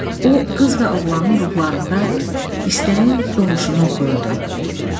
O qız və oğlanın ruhlarında istəyin doğuşunu oxuyurdu.